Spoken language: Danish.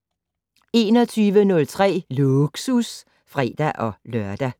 21:03: Lågsus (fre-lør)